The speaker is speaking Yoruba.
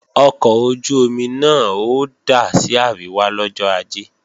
Ọkọ̀ ojú-omi náà ó dà sí àríwá lọ́jọ́ Ajé